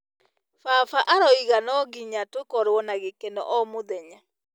Baba arauga no nginya tũkorwo na gĩkeno o mũthenya.